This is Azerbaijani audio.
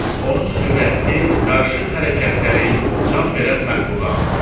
Onun sürətli, qarışıq hərəkətləri can verən məxluqa andırırdı.